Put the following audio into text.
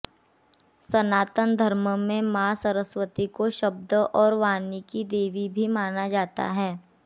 सनातन धर्म में मां सरस्वती को शब्द और वाणी की देवी भी माना जाता है